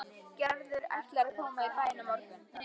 Gerður ætlaði að koma í bæinn á morgun.